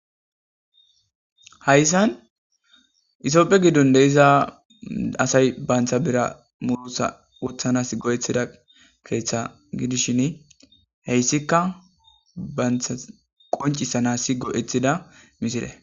Hayssan itopphe giddon de iza asay bantha bira murusa wothanas go7ethida keeththa gidishin heyssika bantha qoncisanasi go7ethida misile